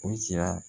O sira